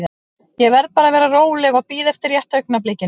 Ég verð bara að vera róleg og bíða eftir rétta augnablikinu.